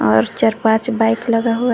और चार पांच बाइक लगा हुआ--